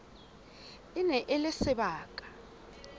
e ne e le sebaka